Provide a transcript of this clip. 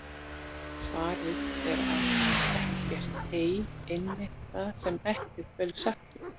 Svarið er að ekkert er einmitt það sem ekkert verður sagt um!